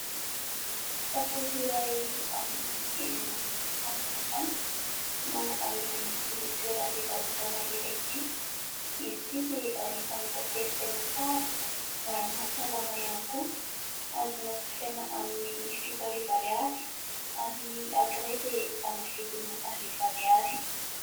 Tantely iray amin'ny endriny kanto dia kanto no amidin'ity toeram-pivarotana iray ity, izy ity dia anisany tantely tena tsara ary maha salama ihany koa. Azonao jifaina amin'ny fito arivo ariary ary ny ankiray dia amin'ny vidiny arivo ariary.